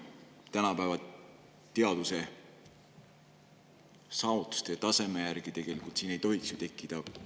Tänapäeva teadussaavutuste järgi ei tohiks siin ju kahtlust tekkida.